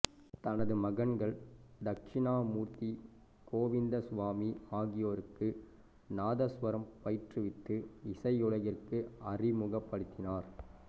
தனது மகன்கள் தக்சிணாமூர்த்தி கோவிந்தசுவாமி ஆகியோருக்கு நாதசுவரம் பயிற்றுவித்து இசையுலகிற்கு அறிமுகப்படுத்தினார்